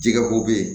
Jɛgɛ ko bɛ ye